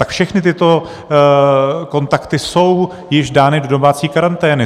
Tak všechny tyto kontakty jsou již dány do domácí karantény.